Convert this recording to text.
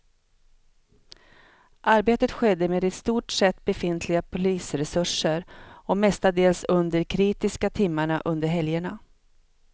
Arbetet skedde med i stort sett befintliga polisresurser och mestadels under de kritiska timmarna under helgerna.